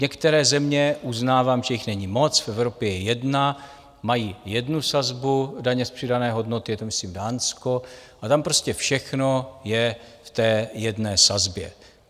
Některé země, uznávám, že jich není moc, v Evropě je jedna, mají jednu sazbu daně z přidané hodnoty, je to myslím Dánsko, a tam prostě všechno je v té jedné sazbě.